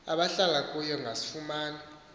abahlala kuyo bangasifumana